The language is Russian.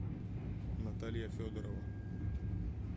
наталья федорова